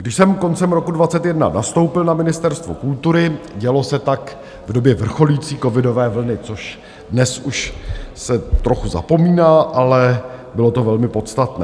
Když jsem koncem roku 2021 nastoupil na Ministerstvu kultury, dělo se tak v době vrcholící covidové vlny, což dnes už se trochu zapomíná, ale bylo to velmi podstatné.